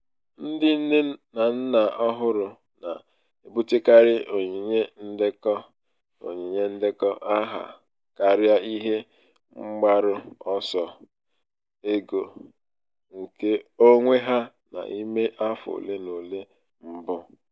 ndị um nne na nna ọhụrụ na-ebutekarị onyinye ndekọ onyinye ndekọ aha karịa ihe mgbaru ọsọ ego nke onwe ha n'ime afọ ole na ole mbụ.